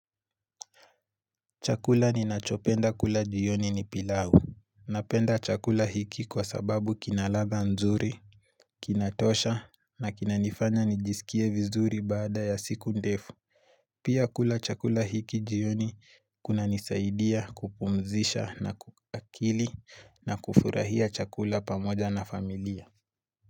Chakula ninachopenda kula jioni ni pilau. Napenda chakula hiki kwa sababu kinaladha nzuri, kinatosha na kinanifanya nijisikie vizuri baada ya siku ndefu. Pia kula chakula hiki jioni kunanisaidia kupumzisha akili na kufurahia chakula pamoja na familia.